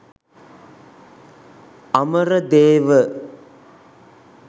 Amaradewa